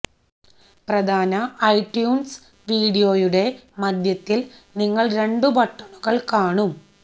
പ്രധാന ഐട്യൂൺസ് വിൻഡോയുടെ മധ്യത്തിൽ നിങ്ങൾ രണ്ടു ബട്ടണുകൾ കാണും